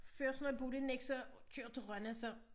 Før så når jeg boede i Nexø og kørte til Rønne så